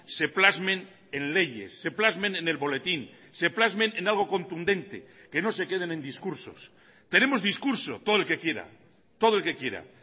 se plasmen en leyes se plasmen en el boletín se plasmen en algo contundente que no se queden en discursos tenemos discurso todo el que quiera todo el que quiera